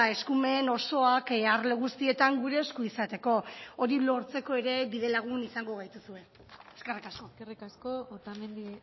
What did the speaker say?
eskumen osoak arlo guztietan gure esku izateko hori lortzeko ere bidelagun izango gaituzue eskerrik asko eskerrik asko otamendi